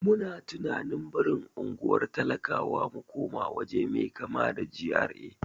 Muna tunanin barin unguwar talakawa mu koma waje mai kama da GRA.